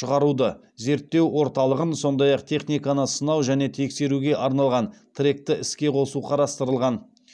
шығаруды зерттеу орталығын сондай ақ техниканы сынау және тексеруге арналған тректі іске қосу қарастырылған